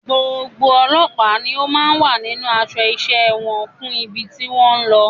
Gbogbo ọlọ́pàá ni ó máa wà nínú aṣọ iṣẹ́ wọn fún ibi tí wọ́n ń lọ.